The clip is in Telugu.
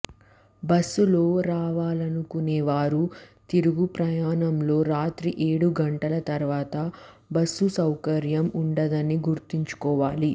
బస్సులో రావాలనుకునేవారు తిరుగు ప్రయాణంలో రాత్రి ఏడు గంటల తర్వాత బస్సు సౌకర్యం ఉండదని గుర్తుంచుకోవాలి